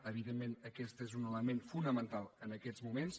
evidentment aquest és un element fonamental en aquests moments